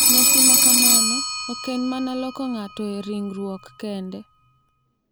Nyasi ma kamano ok en mana loko ng’ato e ringruok kende .